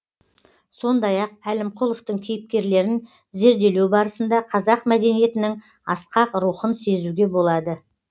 сондай ақ әлімқұловтың кейіпкерлерін зерделеу барысында қазақ мәдениетінің асқақ рухын сезуге болады